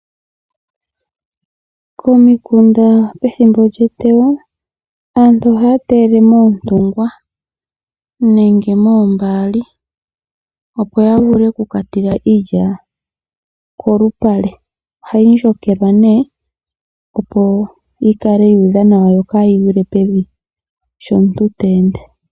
Komikunda pethimbo lyeteyo aantu ohaya teyele moontungwa nenge moombaali opo ya vule oku ka tula iilya kolupale. Ohayi dhikilwa nee opo kaa yi gwile pevi sho omuntu ta ende.